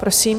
Prosím.